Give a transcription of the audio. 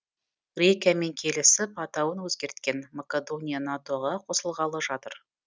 грекиямен келісіп атауын өзгерткен макадония нато ға қосылғалы жатыр